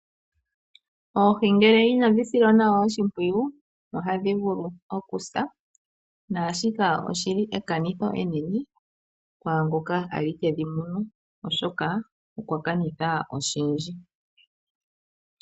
Oohi ngele inadhi silwa nawa oshimpwiyu, ohadhi vulu oku sa, naashika oshili ekanitho enene kwaangoka kwali tedhi munu oshoka okwa kanitha oshindji.